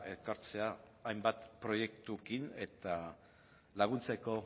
ekartzea hainbat proiektuekin eta laguntzeko